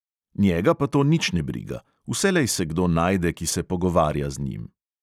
Njega pa to nič ne briga; vselej se kdo najde, ki se pogovarja z njim.